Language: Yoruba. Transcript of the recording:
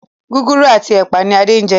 Gúgúrú ati ẹpa ní Ade njé.